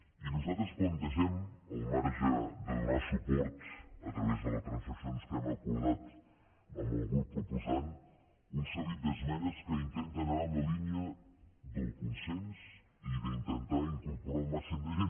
i nosaltres plantegem al marge de donar suport a través de les transaccions que hem acordat amb el grup proposant un seguit d’esmenes que intenten anar en la línia del consens i d’intentar incorporar el màxim de gent